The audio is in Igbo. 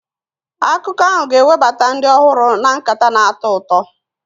Akụkọ ahụ ga-ewebata ndị ọhụrụ na nkata na-atọ ụtọ.